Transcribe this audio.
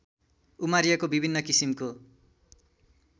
उमारिएको विभिन्न किसिमको